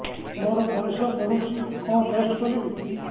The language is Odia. ମୋର ପରିସ୍ରା ପୋଡୁଛି କଣ ଟେଷ୍ଟ କରିବି